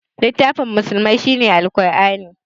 Littafin musulmai shine Qur'ani